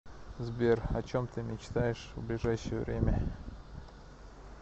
сбер о чем ты мечтаешь в ближайшее время